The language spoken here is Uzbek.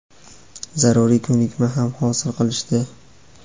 zaruriy ko‘nikma ham hosil qilishdi.